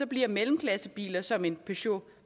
bliver mellemklassebiler som en peugeot